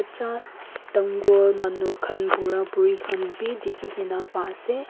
Cha dangor manu khan bura buri khan bhi dekhe kena pa ase.